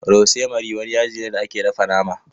Rosemary wani yaji ne da ake dafa nama.